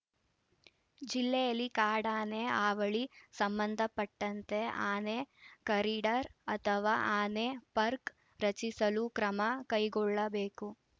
ಜಿಲ್ಲೆಯಲ್ಲಿ ಕಾಡಾನೆ ಹಾವಳಿ ಸಂಬಂಧಪಟ್ಟಂತೆ ಆನೆ ಕಾರಿಡಾರ್‌ ಅಥವಾ ಆನೆ ಪಾರ್ಕ್ ರಚಿಸಲು ಕ್ರಮ ಕೈಗೊಳ್ಳಬೇಕು